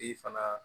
I fana